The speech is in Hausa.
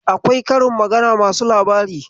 Akwai karin magana masu labari.